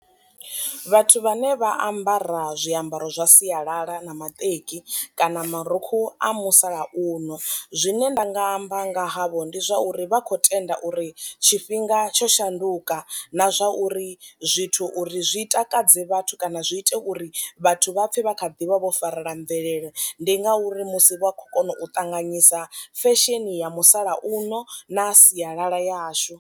Vhathu vhane vha ambara zwiambaro zwa sialala na maṱeki kana marukhu a musalauno. Zwine nda nga amba nga havho ndi zwauri vha kho tenda uri tshifhinga tsho shanduka na zwa uri zwithu uri zwi takadze vhathu kana zwi ite uri vhathu vha pfe vha kha ḓivha vho farela mvelele, ndi nga uri musi vha khou kona u ṱanganyisa fesheni ya musalauno na sialala yashu.